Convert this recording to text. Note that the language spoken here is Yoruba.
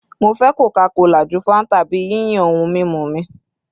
Mo fẹ Coca-Cola ju Fanta bi yiyan ohun mimu mi